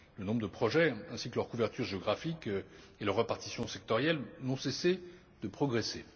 Le nombre de projets ainsi que leur couverture géographique et leur répartition sectorielle n'ont cessé de progresser.